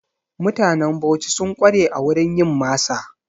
Mutanen Bauchi sun ƙware a wurin yin masa.